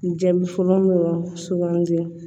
Jaabi fɔlɔ dɔrɔn sugandi